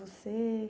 Você?